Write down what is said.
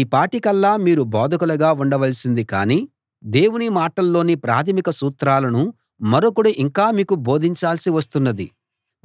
ఈపాటికల్లా మీరు బోధకులుగా ఉండవలసింది కానీ దేవుని మాటల్లోని ప్రాథమిక సూత్రాలను మరొకడు ఇంకా మీకు బోధించాల్సి వస్తున్నది